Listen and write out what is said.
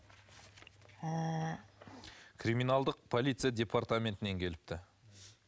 криминалдық полиция департаментінен келіпті